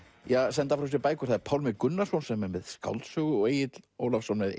senda frá sér bækur það er Pálmi Gunnarsson sem er með skáldsögu og Egill Ólafsson með